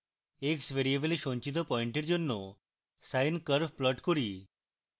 x ভ্যারিয়েবলে সঞ্চিত পয়েন্টের জন্য sine curve plot করি